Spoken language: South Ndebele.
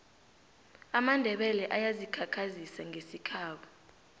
amandebele ayazi khakhazisa ngesikhabo